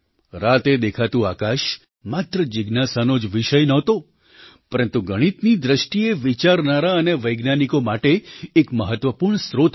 રાતે દેખાતુંઆકાશ માત્ર જિજ્ઞાસાનો જ વિષય નહોતો પરંતુ ગણિતની દૃષ્ટિએ વિચારનારા અને વૈજ્ઞાનિકો માટે એક મહત્ત્વપૂર્ણ સ્રોત હતો